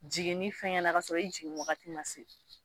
Jiginni fɛngɛ na k'a sɔrɔ i jigin wagati ma se